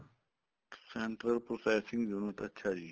central processing unit ਅੱਛਿਆ ਜੀ